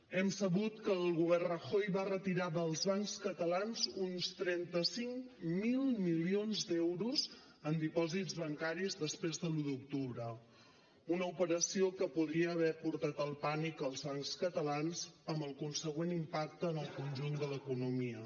hem sabut que el govern rajoy va retirar dels bancs catalans uns trenta cinc mil milions d’euros en dipòsits bancaris després de l’un d’octubre una operació que podria haver portat el pànic als bancs catalans amb el consegüent impacte en el conjunt de l’economia